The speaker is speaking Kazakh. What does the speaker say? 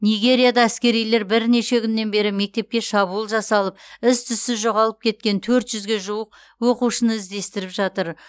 нигерияда әскерилер бірнеше күннен бері мектепке шабуыл жасалып із түзсіз жоғалып кеткен төрт жүзге жуық оқушыны іздестіріп жатыр